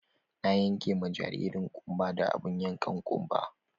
Na yanka ma jaririn ƙunba da abun yankan ƙunba.